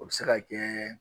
O bɛ se ka kɛ